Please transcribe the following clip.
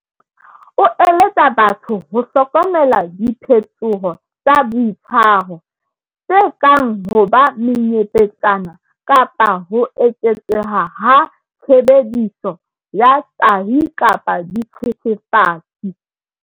O eletsa batho ho hlokomela diphetoho tsa boitshwaro, tse kang ho ba menyepetsana kapa ho eketseha ha tshebediso ya tahi kapa dithethefatsi.